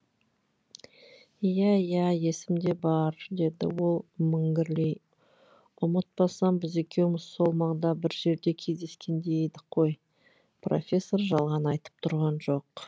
иә иә есімде бар деді ол міңгірлей ұмытпасам біз екеуміз сол маңда бір жерде кездескендей едік қой профессор жалған айтып тұрған жоқ